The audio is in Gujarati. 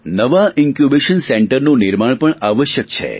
નવા ઇન્કયૂબેશન સેન્ટરનું નિર્માણ પણ આવશ્યક છે